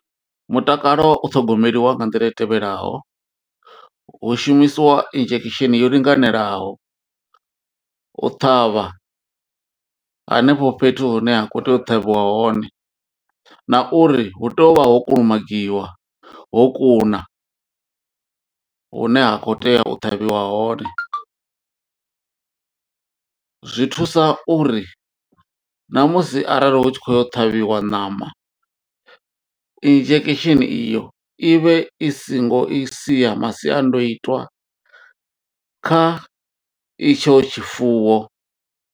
Mutakalo u ṱhogomeliwa nga nḓila i tevhelaho hu shumisiwa injection yo linganelaho u ṱhavha hanefho fhethu hune ha kho tea u ṱhavhiwa hone na uri hu tea u vha ho kulumagiwa, ho kuna hune ha kho tea u ṱavhiwa hone zwi thusa uri namusi arali hu tshi kho yo ṱhavhiwa ṋama injection iyo i vhe i singo i sia masiandoitwa kha itsho tshifuwo.